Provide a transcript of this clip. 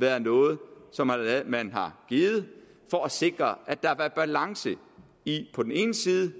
været noget som man har givet for at sikre at der har været balance i på den ene side